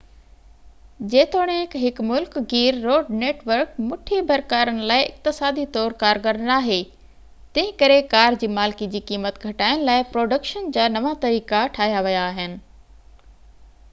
جيتوڻيڪ هڪ ملڪ گير روڊ نيٽ ورڪ مُٺي ڀر ڪارن لاءِ اقتصادي طور ڪارگر ناهي تنهن ڪري ڪار جي مالڪي جي قيمت گهٽائڻ لاءِ پروڊڪشن جا نوان طريقا ٺهيا ويا آهن